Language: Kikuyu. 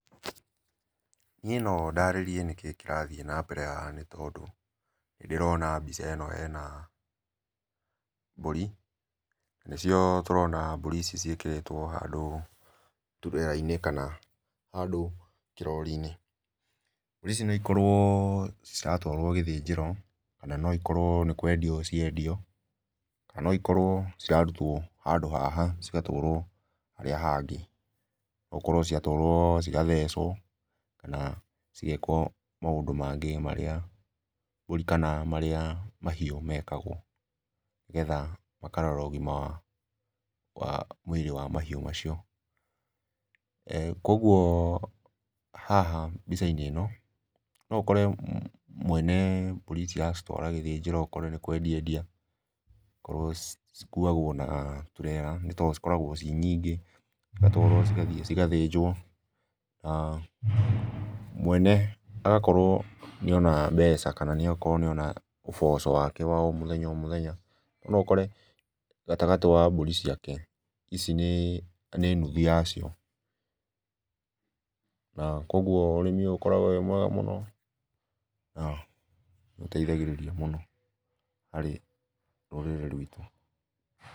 Niĩ nondarĩrĩe nĩkĩĩ kĩrathiĩ nambere haha nĩtondũ ndĩrona mbica ĩno hena, mbũri, nĩcio tũrona mbũri ici ciĩkĩrĩtwo handũ turera-inĩ kana, handũ kĩrori-inĩ, mbũri ici nĩikorwo ciratwarwo gĩthĩnjĩro kana noikorwo nĩkwendio ciendio, na noikorwo cirarutwo handũ haha cigatwarwo, harĩa hangĩ, ũkorwo ciatwarwo cigathecwo, kana cigekwo maũndũ mangĩ marĩa, mbũri kana marĩa mahiũ mekagwo, nĩgetha makarora ũgima, wa mwĩrĩ wa mahiũ macio. Koguo haha mbica-inĩ ĩno noũkore mwene mbũri ici araciĩtwara gĩthĩnjĩro akorwo nĩ kwendia endia, cikuagwo na turera tondũ cikoragwo irĩ nyingĩ cigatwaro cigathiĩ cigathĩnjwo, na mwene agakorwo nĩona mbeca kana nĩakorwo nĩona ũboco wake o mũthenya o mũthenya, noũkore gatagatĩ wa mbũri ciake, ici nĩ, nĩ nuthu yacio, na koguo ũrĩmi ũkoragwo wĩ mwega mũno, na ũteithagĩrĩria mũno harĩ rũrĩrĩ rwitũ.